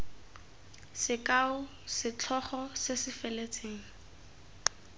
sekao setlhogo se se feletseng